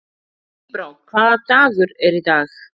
Tíbrá, hvaða dagur er í dag?